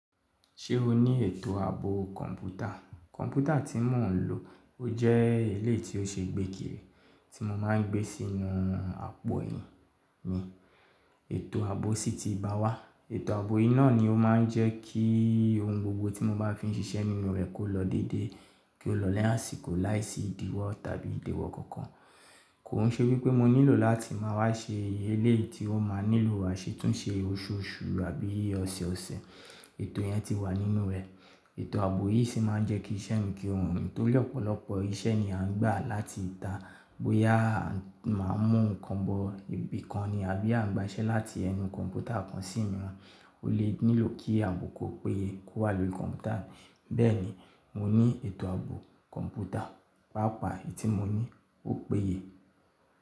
Ṣé o ní ètò ààbò kọ̀ǹpútà? Kọ̀ǹpútà tí mo ń lò, ó jẹ́ eléèti ó ṣe gbékiri tí mo máa ń gbé sínú àpò ẹyin mi. Ètò ààbò sì ti bá wá. Ètò ààbò yìí náà ni ó máa ń jẹ́ kí ohun gbogbo tí mo bá fi ń ṣiṣẹ́ nínú rẹ̀ kó lọ dédé, kí ó lọ lẹ́yìn àsìkò láìsí ìdíwọ́ tàbí ìdéwọ́ kankan. Kò hún ṣe wípé mo nílò láti máa wá ṣe eléèti ó máa nílò àṣetúnṣe oṣùọṣù àbí ọ̀ṣẹẹ̀ọ̀ṣẹ. Ètò yẹn ti wà nínú rẹ̀. Ètò ààbò yìí sì máa ń jẹ́ kí iṣẹ́ mi kí ohun tó lẹ́ ọ̀pọ̀lọpọ̀ iṣẹ́ ni a ń gbà láti ìta bóyá máa mú nǹkan bo ibì kan ni àbí à ń gba iṣẹ́ láti ẹnu kọ̀ǹpútà kan sí omiran O lè nílò kí ààbò kó péye kó wà lórí kọ̀ǹpútà. Bẹ́ẹ̀ni, mo ní ètò ààbò kọ̀ǹpútà. Pàápàá èyí tí mo ní ó péye.